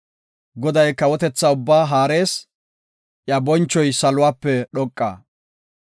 Goday kawotetha ubbaa haarees; iya bonchoy saluwape dhoqa.